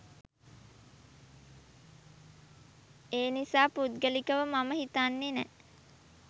එනිසා පුද්ගලිකව මම හිතන්නේ නෑ